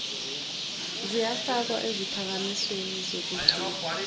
ziyafakwa eziphakamisweni zokugcina